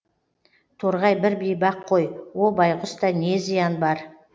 торғай бір бейбақ қой о байғұста не зиян бар